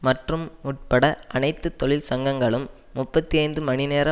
மற்றும் உட்பட அனைத்து தொழிற்சங்கங்களும் முப்பத்தி ஐந்து மணி நேர